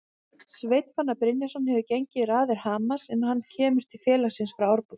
Sveinn Fannar Brynjarsson hefur gengið í raðir Hamars en hann kemur til félagsins frá Árborg.